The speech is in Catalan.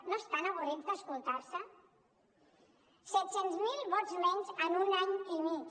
no estan avorrits d’escoltar se set cents mil vots menys en un any i mig